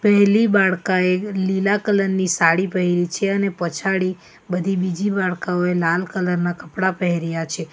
પહેલી બાળકા એ લીલા કલર ની સાડી પહેરી છે અને પછાડી બધી બીજી બાળકોએ લાલ કલર ના કપડાં પહેર્યા છે.